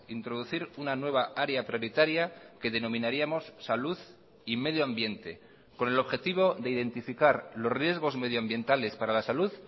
introducir una nueva área prioritaria que denominaríamos salud y medioambiente con el objetivo de identificar los riesgos medioambientales para la salud